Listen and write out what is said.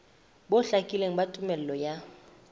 bo hlakileng ba tumello ya